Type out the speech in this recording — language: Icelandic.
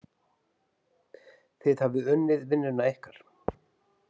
Þið hafið unnið vinnuna ykkar.